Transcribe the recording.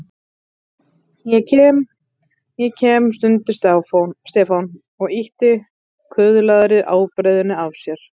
Ég kem, ég kem stundi Stefán og ýtti kuðlaðri ábreiðunni af sér.